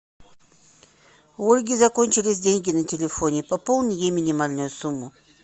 у ольги закончились деньги на телефоне пополни ей минимальную сумму